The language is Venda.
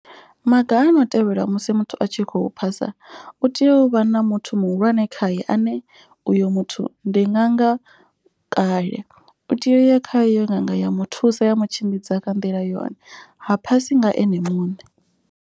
Maga a no tevhelwa musi muthu a tshi khou phasa u tea u vha na muthu muhulwane khaye ane. Uyo muthu ndi ṅaga kale u tea uya kha iyo nga nga ya muthusa ya mu tshimbidza kha nḓila yone ha phasi nga ene muṋe.